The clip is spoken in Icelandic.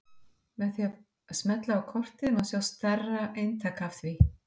með því að smella á kortið má sjá stærri eintak af því